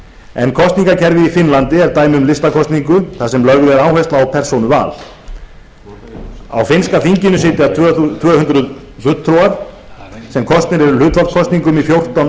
en kosningakerfið í finnlandi er dæmi um listakosningu þar sem lögð er áhersla á persónuval á finnska þinginu sitja tvö hundruð fulltrúar sem kosnir eru hlutfallskosningu í fjórtán